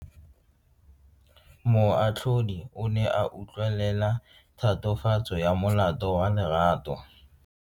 Moatlhodi o ne a utlwelela tatofatso ya molato wa Lerato.